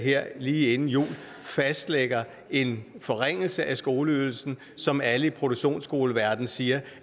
her lige inden jul fastlægger en forringelse af skoleydelsen som alle i produktionsskoleverden siger